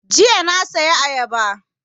Jiya na saya ayaba